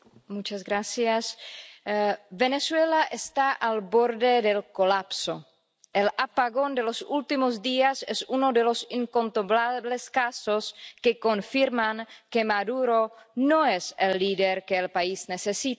Señor presidente, Venezuela está al borde del colapso. El apagón de los últimos días es uno de los incontrolables casos que confirman que Maduro no es el líder que el país necesita.